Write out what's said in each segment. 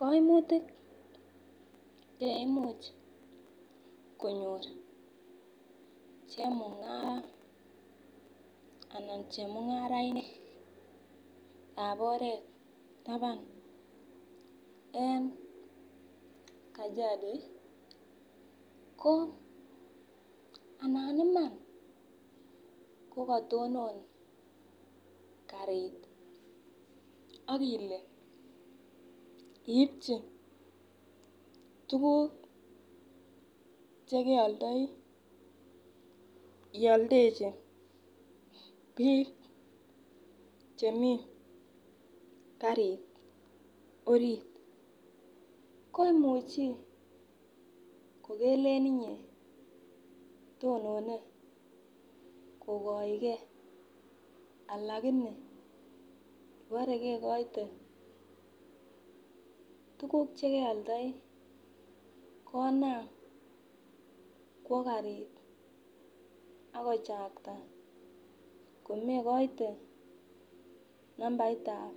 Koimutik che imuch konyor chemunga ana chemungarainikab oret taban en kajado ko anan Iman kokotonon karit ak ile iibchi tukuk chekioldoi ioldechi bik chemii karit orit ko imuchi ko kelen inyee to one kogoigee lakini kobore kekoite tukuk chekeoldoi konam kwo karit ak kochakta komegoite nambaitab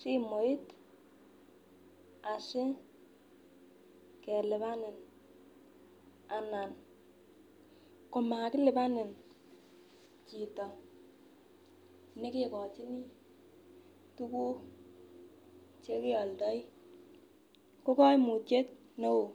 simoit asikelipani anan komakilipani chito nekekochinii tukuk chekeoldoi ko koimutyet neo.